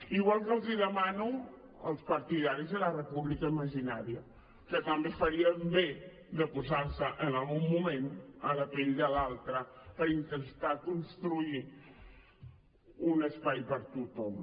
igual que els ho demano als partidaris de la república imaginària que també farien bé de posar se en algun moment en la pell de l’altre per intentar construir un espai per a tothom